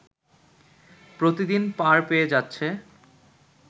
প্রতিদিন পার পেয়ে যাচ্ছে